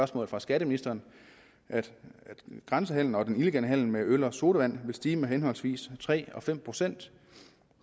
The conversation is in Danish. svar fra skatteministeren at grænsehandelen og den illegale handel med øl og sodavand vil stige med henholdsvis tre og fem procent